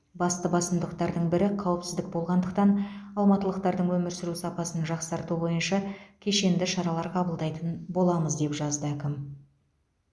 басты басымдықтардың бірі қауіпсіздік болғандықтан алматылықтардың өмір сүру сапасын жақсарту бойынша кешенді шаралар қабылдайтын боламыз деп жазды әкім